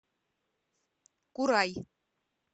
курай